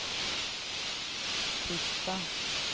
titta